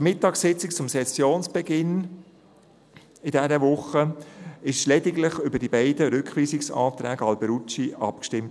An der Mittagssitzung zum Sessionsbeginn von dieser Woche wurde lediglich über die beiden Rückweisungsanträge Alberucci abgestimmt.